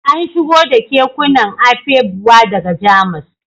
An shigo da kekunan Afegbua daga Jamus